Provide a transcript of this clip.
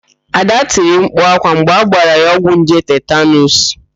Ada tiri mkpu ákwá mgbe agbara ya ọgwụ nje tetanuus.